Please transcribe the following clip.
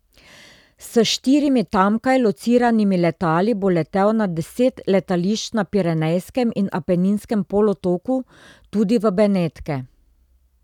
S štirimi tamkaj lociranimi letali bo letel na deset letališč na Pirenejskem in Apeninskem polotoku, tudi v Benetke.